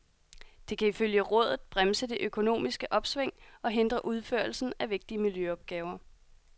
Det kan ifølge rådet bremse det økonomiske opsving og hindre udførelsen af vigtige miljøopgaver.